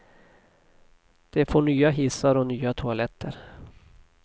De får nya hissar och nya toaletter.